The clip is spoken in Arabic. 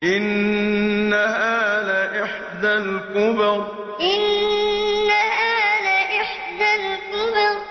إِنَّهَا لَإِحْدَى الْكُبَرِ إِنَّهَا لَإِحْدَى الْكُبَرِ